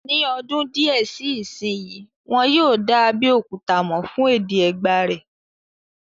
Ní ọdún díẹ̀ sí ìsínyi, wọ́n yóò dá Abéòkúta mọ̀ fún èdè Ẹ̀gbá rẹ̀